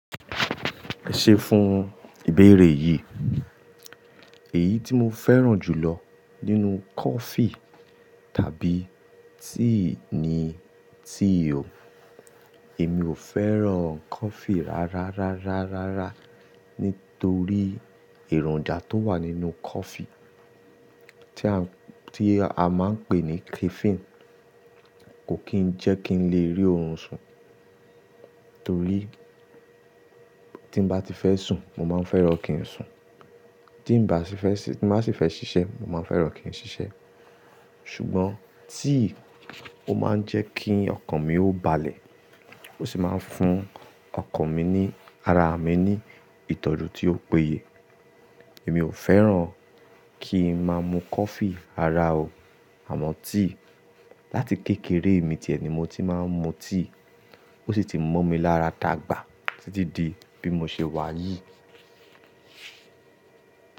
Ẹ ṣé fún ìbéèrè yìí. Èyí tí mo fẹ́ràn jùlọ nínú coffee tàbí tea ni tea o. Èmi ò fẹ́ràn coffee rárá, rárá, rárá, rárá nítorí èròjà tó wà nínú coffee tí a máa ń pè ní caffeine kò kí n jẹ́ kí n lè rí oorun sùn torí tí mo bá ti fẹ́ sùn, mo máa fẹ́ràn kí n sùn. Tí mo bá sì fẹ́ ṣiṣẹ́, mo máa fẹ́ràn kí n ṣiṣẹ́. Ṣùgbọ́n tea ó máa ń jẹ́ kí ọkàn mi ó balẹ̀ ó sì máa ń fún ọkàn mi ní, ara mi ní ìtọ́jú tí ó péye. Èmi ò fẹ́ràn kí n máa mu coffee ara o àmọ́ tea láti kékeré mi tìẹ ni mo ti máa ń mu tea ó sì ti mo mi lára dàgbà títí di bí mo ṣe wà yìí.